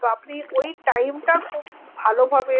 তা আপনি ওই time টা খুব ভালোভাবে